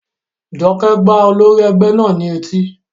Jọkẹ́ gbá olórí ẹgbẹ́ náà ní etí